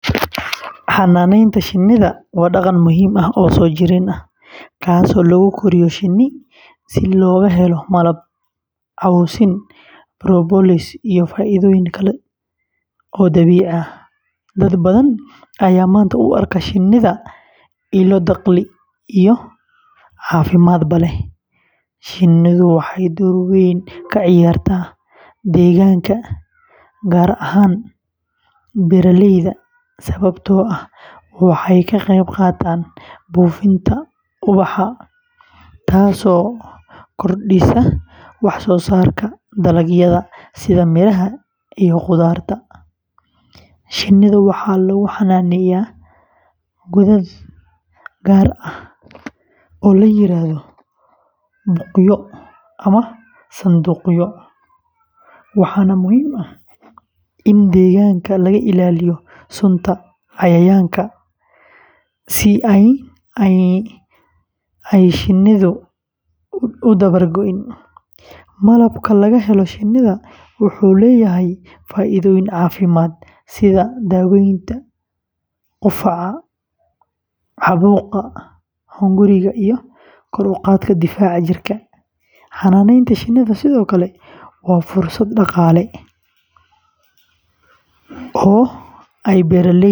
Xanaanaynta shinnida waa dhaqan muhiim ah oo soo jireen ah, kaasoo lagu koriyo shinni si looga helo malab, cawsin, propolis, iyo faa’iidooyin kale oo dabiici ah. Dad badan ayaa maanta u arka shinnida ilo dakhli iyo caafimaadba leh. Shinnidu waxay door weyn ka ciyaartaa deegaanka, gaar ahaan beeraleyda, sababtoo ah waxay ka qeybqaataan buufinta ubaxa, taasoo kordhisa wax-soosaarka dalagyada sida miraha iyo khudradda. Shinnida waxaa lagu xanaaneeyaa godad gaar ah oo la yiraahdo buqyo ama sanduuqyo, waxaana muhiim ah in deegaanka laga ilaaliyo sunta cayayaanka si aanay shinnidu u dabar go’in. Malabka laga helo shinnida wuxuu leeyahay faa’iidooyin caafimaad sida daaweynta qufaca, caabuqa hunguriga, iyo kor u qaadidda difaaca jirka. Xanaanaynta shinnida sidoo kale waa fursad dhaqaale oo ay beeraleyda.